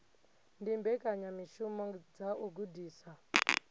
ndi mbekanyamishumo dza u gudisa